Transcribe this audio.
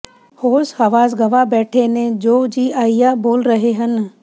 ਹੋਸ਼ ਹਵਾਸ ਗਵਾ ਬੈਠੇ ਨੇ ਜੋ ਜੀ ਆਇਆ ਬੋਲ ਰਹੇ ਨੇ